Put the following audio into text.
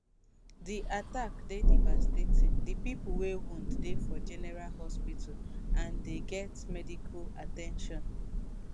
di attack dey devastating di pipo wey wound dey for general hospital already and dey get medical at ten tion